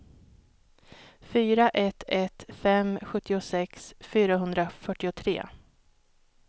fyra ett ett fem sjuttiosex fyrahundrafyrtiotre